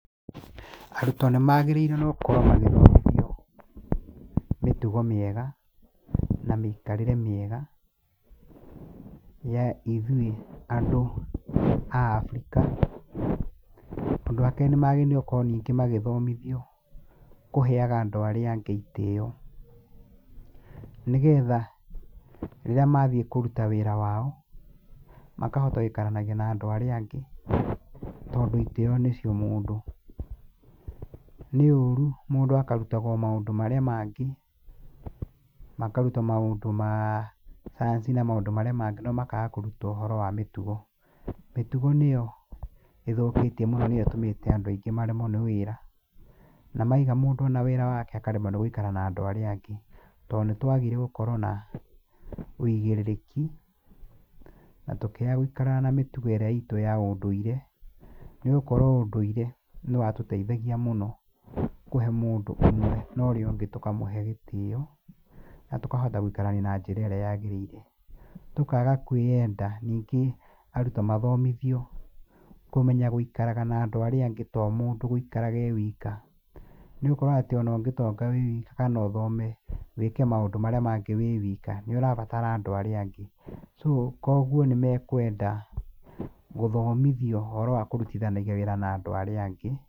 Arutwo nĩ maageriĩrwo nĩ gũkorwo magĩthomithio mĩtugo mĩega, na mĩikarĩre mĩega, ya ithuĩ andũ a Afrika. Ũndũ wa keerĩ nĩmagĩrĩirwo gũkorwo ningĩ magĩthomithio kũheaga andũ arĩa angĩ itĩĩo. Nĩ getha rĩrĩa mathiĩ kũruta wĩra wao, makahota gũikaranagia na andũ arĩa angĩ, tondũ itĩĩo nĩcio mũndũ. Nĩ ũũru mũndũ akarutagwo maũndũ marĩa mangĩ, makarutwo maũndũ ma cayanci na maũndũ marĩa mangĩ no makaga kũrutwo maũndũ ma mĩtugo. Mĩtugo nĩyo ĩthũkĩĩtio mũno nĩyo ĩtũmĩte andũ aingĩ maremwo nĩ wĩra. Na maiga mũndũ ona wĩra waake akaremwo nĩ gũikara na andũ arĩa angĩ. Tondũ nĩ twagire gũkorwo na ũigĩrĩreki, na tũkĩaga gũikaraga na mitugo ĩrĩa iitũ ya undũire, nĩ gũkorũo ũndũire nĩ watũteithagia mvno kũhe mũndũ ũmwe na ũrĩa ũngi tũkamũhe gitĩĩo na tũkahota gũikarania na njĩra ĩrĩa yagĩrĩire. Tũkaaga kwĩenda. Ningĩ arutwo mathomithio kũmenya gũikaraga na andũ arĩa angĩ to o mũndũ gũikara e wiika. Nĩ gũkorwo atĩ ona ũngĩtonga wĩ wiika kana ũthome, wĩĩke maũndũ marĩa mangĩ wĩ wiika, nĩũrabatara andũ arĩa angĩ. So, Kũoguo nĩ mekwenda gũthomithio ũhoro wa kũrutithanagĩa wĩĩra na andũ arĩa angĩ.